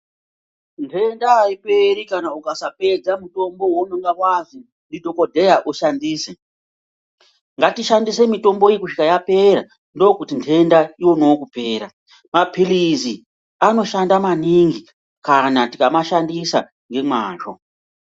Ntenda aiperi kana ukasapedza mutombo waunenge wazwi ndidhokodheya ushandise ngatishandise mitombo iyi kusvika yapera ndokuti ntenda ionewo kupera, mapilizi anoshanda maningi kana tikamashandisa ngemwazvo.